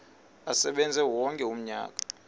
asebenze wonke umnyaka